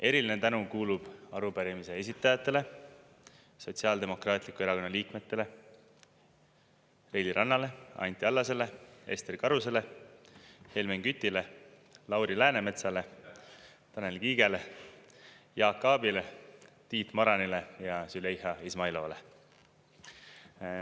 Eriline tänu kuulub arupärimise esitajatele, Sotsiaaldemokraatliku Erakonna liikmetele Reili Rannale, Anti Allasele, Ester Karusele, Helmen Kütile, Lauri Läänemetsale, Tanel Kiigele, Jaak Aabile, Tiit Maranile ja Züleyxa Izmailovale.